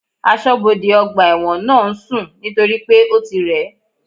Asọ́bodè ọgbà ẹ̀wọ̀n náà ń sùn nítorípé ó ti rẹ̀